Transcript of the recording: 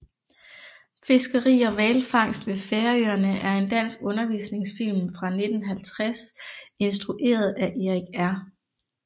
Fiskeri og hvalfangst ved Færøerne er en dansk undervisningsfilm fra 1950 instrueret af Erik R